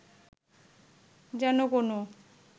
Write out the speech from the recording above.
যেন কোনও